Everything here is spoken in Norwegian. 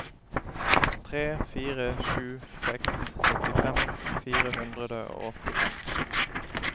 tre fire sju seks nittifem fire hundre og åttifem